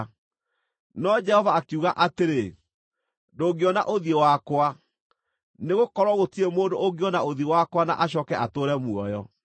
No Jehova akiuga atĩrĩ, “Ndũngĩona ũthiũ wakwa, nĩgũkorwo gũtirĩ mũndũ ũngĩona ũthiũ wakwa na acooke atũũre muoyo.”